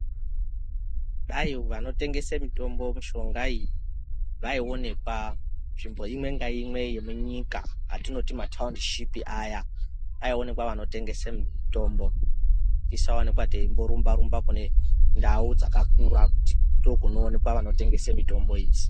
Dai vanotengese mitombo, mishonga iyi vaionekwa nzvimbo imwe ngaimwe yemunyika atinoti mataundishipi aya aionekwa vanotengese mitombo. Tisaonekwa teingorumba-rumba kune ndau dzakakura ngekuti ndookunoonekwa vanotengese mitombo idzi.